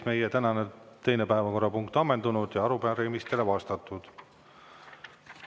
Meie tänane teine päevakorrapunkt on ammendunud ja arupärimistele on vastatud.